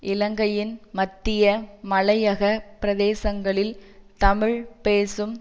இலங்கையின் மத்திய மலையகப் பிரதேசங்களில் தமிழ் பேசும்